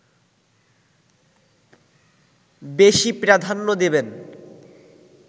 বেশি প্রাধান্য দেবেন